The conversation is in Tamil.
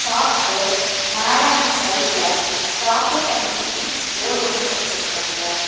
சாப்க்கு மேல அண்ட் சைட்ல சாக்லேட் அண்ட் மில்கி மிஸ்ட் போடு ஒன்னு வெச்சிருக்காங்க.